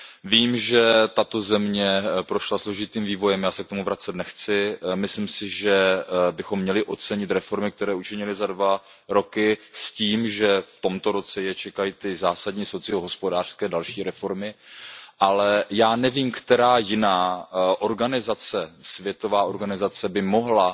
Vím, že tato země prošla složitým vývojem, já se k tomu vracet nechci, myslím si, že bychom měli ocenit reformy, které učinili za dva roky s tím, že v tomto roce je čekají další zásadní socio hospodářské reformy, ale já nevím, která jiná organizace, světová organizace, by mohla